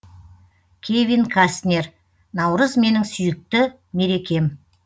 кевин кастнер наурыз менің сүйікті мерекем